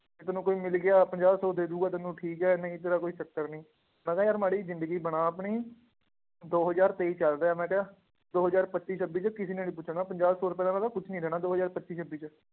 ਜੇ ਤੈਨੂੰ ਕੋਈ ਮਿਲ ਗਿਆ ਪੰਜਾਹ ਸੌ ਦੇ ਦਊਗਾ ਤੈਨੂੰ ਠੀਕ ਹੈ, ਨਹੀਂ ਤੇਰਾ ਕੋਈ ਚੱਕਰ ਨੀ, ਮੈਂ ਕਿਹਾ ਯਾਰ ਮਾੜੀ ਜਿਹੀ ਜ਼ਿੰਦਗੀ ਬਣਾ ਆਪਣੀ, ਦੋ ਹਜ਼ਾਰ ਤੇਈ ਚੱਲ ਰਿਹਾ ਮੈਂ ਕਿਹਾ, ਦੋ ਹਜ਼ਾਰ ਪੱਚੀ ਛੱਬੀ ਚ ਕਿਸੇ ਨੇ ਨੀ ਪੁੱਛਣਾ ਪੰਜਾਹ ਸੌ ਰੁਪਏ ਦਾ ਮੈਂ ਕਿਹਾ ਕੁਛ ਨੀ ਰਹਿਣਾ ਦੋ ਹਜ਼ਾਰ ਪੱਚੀ ਛੱਬੀ ਚ